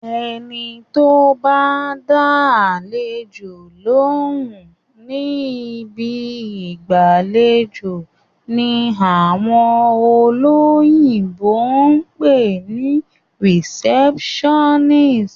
Ẹni tó bá ń dá àlejò lóhùn ni ibi ìgbàlejò ni àwọn olóyìnbó pè ní receptionist.